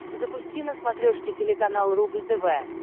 запусти на смотрешке телеканал рубль тв